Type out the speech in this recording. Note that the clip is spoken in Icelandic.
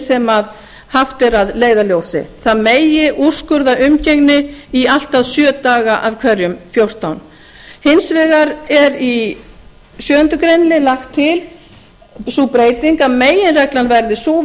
sem haft er að leiðarljósi það megi úrskurða umgengni í allt að sjö daga af hverjum fjórtán hins vegar er í sjöundu greinar lögð til sú breyting að meginreglan verði sú við